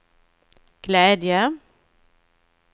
glädje